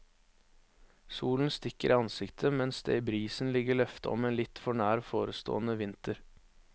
Solen stikker i ansiktet, mens det i brisen ligger løfte om en litt for nær forestående vinter.